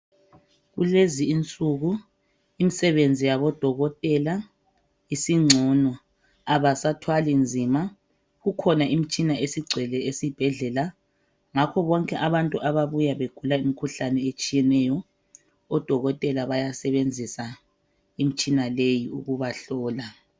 Kulezi insuku imisebenzi yabodokotela isingcono abasathwali nzima kukhona imtshina esigcwele esibhedlela ngakho bonke abantu ababuya begula imikhuhlane etshiyeneyo odokotela bayasebenzisa imtshina leyi ukubahlola.